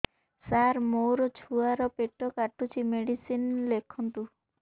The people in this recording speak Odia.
ସାର ମୋର ଛୁଆ ର ପେଟ କାଟୁଚି ମେଡିସିନ ଲେଖନ୍ତୁ